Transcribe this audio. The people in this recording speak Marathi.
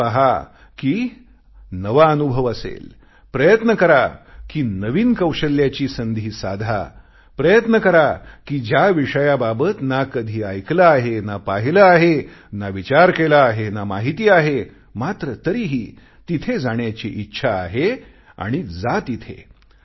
हे पहा कि नवा अनुभव असेल प्रयत्न करा कि नवीन कौशल्याची संधी साधा प्रयत्न करा कि ज्या विषयाबाबत ना कधी ऐकले आहे ना पाहिले आहे ना कधी विचार केला आहे ना माहिती आहे मात्र तरीही तिथे जाण्याची इच्छा आहे आणि जा तिथे